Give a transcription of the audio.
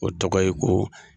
O tɔgɔ ye ko